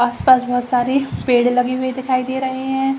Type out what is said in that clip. आस-पास बहोत सारी पेड़ लगी हुई दिखाई दे रहे है ।